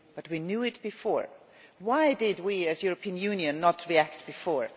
But we knew it before. Why did we as a European Union not react before?